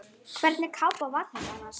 Hvernig kápa var þetta annars?